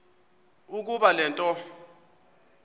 ukuba le nto